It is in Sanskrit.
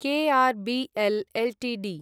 KRBL Ltd